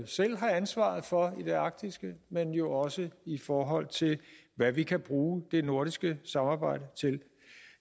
selv har ansvaret for i det arktiske men jo også i forhold til hvad vi kan bruge det nordiske samarbejde til